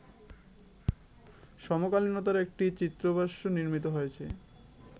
সমকালীনতার একটি চিত্রভাষ্য নির্মিত হয়েছে